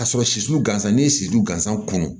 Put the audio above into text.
Ka sɔrɔ sisi gansan n'i ye sibu gansan kunu